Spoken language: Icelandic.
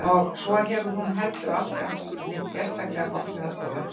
Og svo hefur hún heldur aldrei átt neitt sérstaklega gott með að þola blóð.